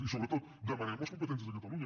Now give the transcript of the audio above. i sobretot demanem les competències de catalunya